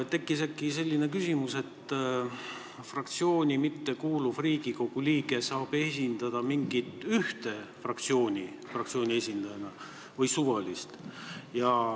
Tekkis äkki selline küsimus, kas fraktsiooni mittekuuluv Riigikogu liige saab esindada mingit ühte fraktsiooni või suvalist.